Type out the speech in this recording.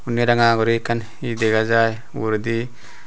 unni ranga guri ekkan hi dega jai uguredi.